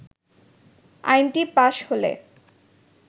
আইনটি পাশ হলে